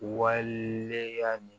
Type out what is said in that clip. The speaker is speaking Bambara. Walele ya ni